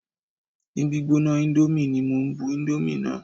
Ni gbígbóná índómì ní mo bu indomie náà.